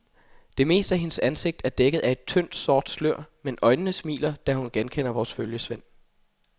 Det meste af hendes ansigt er dækket af et tyndt sort slør, men øjnene smiler, da hun genkender vores følgesvend.